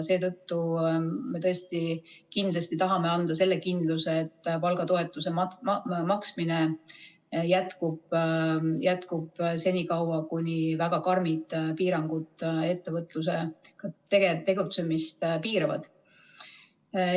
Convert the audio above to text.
Seetõttu me tõesti tahame anda selle kindluse, et palgatoetuse maksmine jätkub, jätkub senikaua, kuni väga karmid piirangud ettevõtluse tegutsemist piiravad.